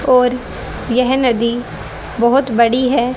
और यह नदी बहोत बड़ी है।